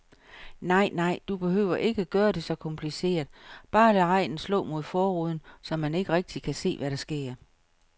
Nej nej, du behøver ikke gøre det så kompliceret, bare lad regnen slå mod forruden, så man ikke rigtigt kan se, hvad der sker.